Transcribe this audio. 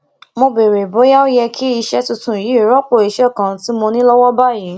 mo béèrè bóyá ó yẹ kí iṣé tuntun yìí rópò iṣé kan tí mo ní lówó báyìí